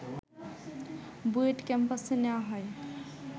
বুয়েট ক্যাম্পাসে নেয়া হয়